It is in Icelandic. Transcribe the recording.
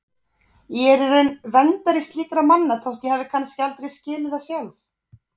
Ég er í raun verndari slíkra manna þótt ég hafi kannski aldrei skilið það sjálf.